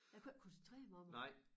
Jeg kunne ikke koncentrere mig om det